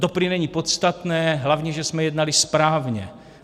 To prý není podstatné, hlavně že jsme jednali správně.